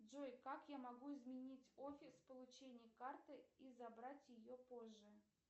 джой как я могу изменить офис получения карты и забрать ее позже